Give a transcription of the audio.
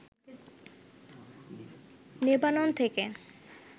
Lebanon থেকে